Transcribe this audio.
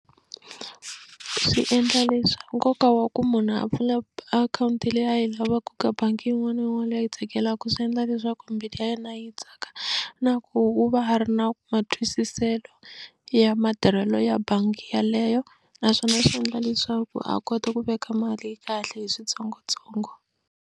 Swi endla nkoka wa ku munhu a pfula akhawunti leyi a yi lavaka ka bangi yin'wana na yin'wana leyi a yi tsakelaka swi endla leswaku mbilu ya yena yi tsaka na ku u va a ri na matwisiselo ya matirhelo ya bangi yeleyo naswona swi endla leswaku a kota ku veka mali kahle hi switsongotsongo.